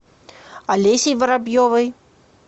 олесей воробьевой